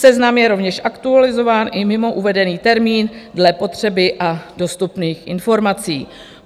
Seznam je rovněž aktualizován i mimo uvedený termín dle potřeby a dostupných informací.